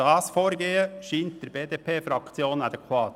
Erstens scheint der BDP-Fraktion das Vorgehen adäquat.